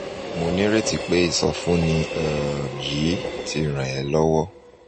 mo ní ìrètí pé ìsọfúnni um yìí ti ràn ẹ́ lọ́wọ́